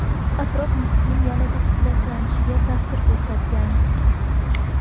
Atrof-muhitning yanada ifloslanishiga ta’sir ko‘rsatgan.